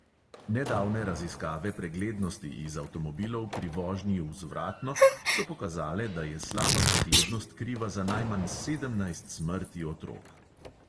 Nedavne raziskave preglednosti iz avtomobilov pri vožnji vzvratno so pokazale, da je slaba preglednost kriva za najmanj sedemnajst smrti otrok.